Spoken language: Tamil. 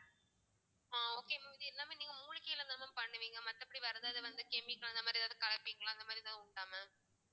ஆஹ் okay mam இது எல்லாமே நீங்க மூலிகையிலதான் பண்ணுவீங்க மத்தபடி வேற ஏதாவது வந்து chemical அந்த மாதிரி ஏதாவது கலப்பீங்களா அந்த மாதிரி ஏதாவது உண்டா mam